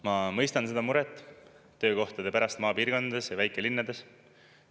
Ma mõistan seda muret töökohtade pärast maapiirkondades ja väikelinnades.